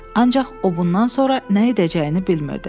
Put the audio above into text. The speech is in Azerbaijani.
Ancaq o bundan sonra nə edəcəyini bilmirdi.